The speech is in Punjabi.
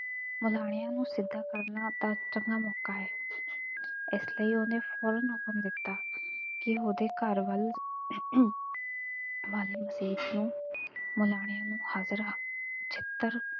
ਮੁਲਾਣਿਆਂ ਨੂੰ ਸਿੱਧਾ ਕਰਨ ਦਾ ਚੰਗਾ ਮੌਕਾ ਐ। ਇਸ ਲਈ ਉਹਨੇ ਫੌਰਨ ਹੁਕਮ ਦਿੱਤਾ ਕਿ ਉਹਦੇ ਘਰ ਵੱਲ ਅਮ ਵਾਲੀ ਮਸੀਤ ਨੂੰ ਮੁਲਾਣਿਆਂ ਨੂੰ ਹਜ਼ਾਰਾਂ ਛਿੱਤਰ,